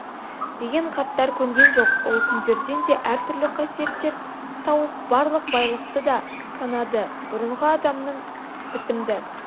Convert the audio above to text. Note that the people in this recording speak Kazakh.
деген қарттар көнген жоқ ол күндерден әр түрлі қасиеттер тауып барлықты байлықты да санады бұрынғы адамның бітімді